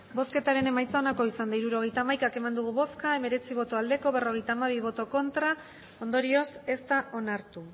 hirurogeita hamaika eman dugu bozka hemeretzi bai berrogeita hamabi ez ondorioz ez da onartu